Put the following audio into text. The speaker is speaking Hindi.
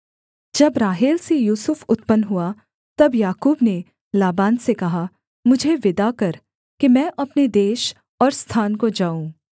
जब राहेल से यूसुफ उत्पन्न हुआ तब याकूब ने लाबान से कहा मुझे विदा कर कि मैं अपने देश और स्थान को जाऊँ